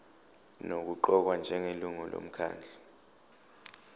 nokuqokwa njengelungu lomkhandlu